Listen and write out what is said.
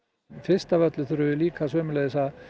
fyrst af öllu þurfum við líka sömuleiðis að